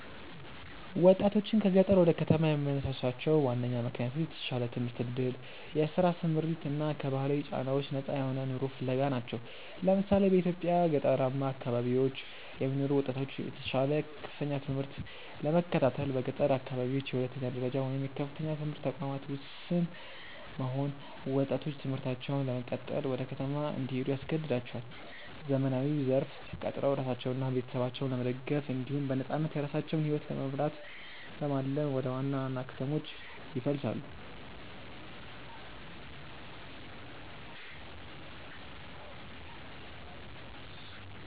ወጣቶችን ከገጠር ወደ ከተማ የሚያነሳሷቸው ዋነኛ ምክንያቶች የተሻለ የትምህርት ዕድል፣ የሥራ ስምሪት እና ከባህላዊ ጫናዎች ነፃ የሆነ ኑሮ ፍለጋ ናቸው። ለምሳሌ፣ በኢትዮጵያ ገጠራማ አካባቢዎች የሚኖሩ ወጣቶች የተሻለ የከፍተኛ ትምህርት ለመከታተል በገጠር አካባቢዎች የሁለተኛ ደረጃ ወይም የከፍተኛ ትምህርት ተቋማት ውስን መሆን ወጣቶች ትምህርታቸውን ለመቀጠል ወደ ከተማ እንዲሄዱ ያስገድዳቸዋል። ዘመናዊው ዘርፍ ተቀጥረው ራሳቸውንና ቤተሰባቸውን ለመደገፍ እንዲሁም በነፃነት የራሳቸውን ሕይወት ለመምራት በማለም ወደ ዋና ዋና ከተሞች ይፈልሳሉ።